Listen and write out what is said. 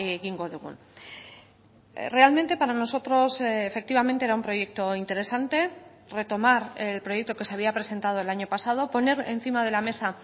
egingo dugun realmente para nosotros efectivamente era un proyecto interesante retomar el proyecto que se había presentado el año pasado poner encima de la mesa